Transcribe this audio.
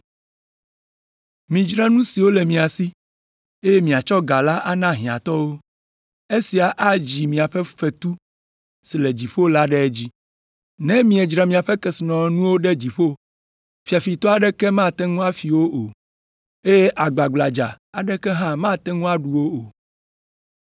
Midzra nu siwo le mia si, eye miatsɔ ga la ana hiãtɔwo, esia adzi miaƒe fetu si le dziƒo la ɖe edzi. Ne miedzra miaƒe kesinɔnuwo ɖo ɖe dziƒo, fiafitɔ aɖeke mate ŋu afi wo o, eye gbagbladza aɖeke hã mate ŋu aɖu wo o.